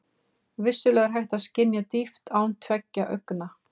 Vissulega er hægt að skynja dýpt án tveggja augna.